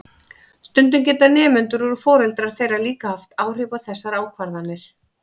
Stundum geta nemendur og foreldrar þeirra líka haft áhrif á þessar ákvarðanir.